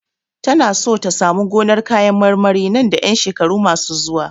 Tana so ta samu gonar kayan marmari nan da ƴan shekaru masu zuwa.